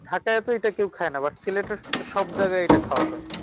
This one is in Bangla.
ঢাকায় হয়তো এইটা কেউ খায়না but সিলেটের সব জায়গায় এটা খাওয়া হয়।